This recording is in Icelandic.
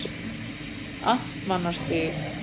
Amtmannsstíg